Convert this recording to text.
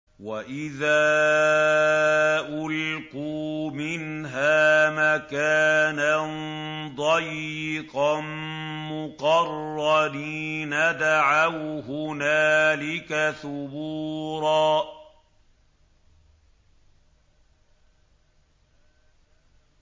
وَإِذَا أُلْقُوا مِنْهَا مَكَانًا ضَيِّقًا مُّقَرَّنِينَ دَعَوْا هُنَالِكَ ثُبُورًا